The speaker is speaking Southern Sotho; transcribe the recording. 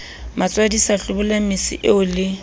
matswadisa hlobolang mese eo le